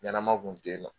Ɲanama kun te yen nɔ